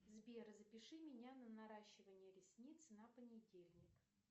сбер запиши меня на наращивание ресниц на понедельник